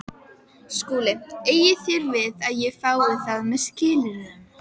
SKÚLI: Eigið þér við að ég fái það með skilyrðum?